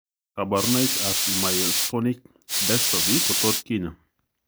Kaborunoik ab myotonic dystophy kotot kinyaa